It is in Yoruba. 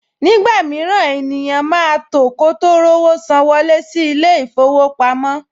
Nígbà mìíràn, ènìyàn máa tò kó tó rówó san wọlé sí ilé-ìfowópamọ́